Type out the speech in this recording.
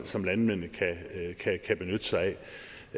som landmændene kan benytte sig